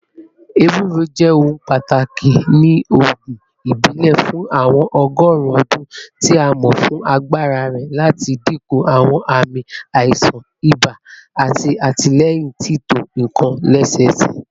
Ewuro jẹ ohun pataki ni oogun ibile fun awọn ọgọrun ọdun, ti a mọ fun agbara rẹ lati dinku awọn aami aisan iba ati atilẹyin tito nkan lẹsẹsẹ.